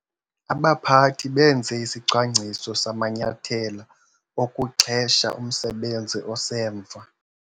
Abaphathi benze isicwangciso samanyathelo okuxhesha umsebenzi osemva.